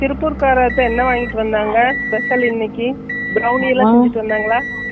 திருப்பூர் கர்ரச்சே என்ன வாங்கிட்டு வந்தாங்க special இன்னைக்கு தவுனி எல்லாம் வாங்கிட்டு வந்தாங்களா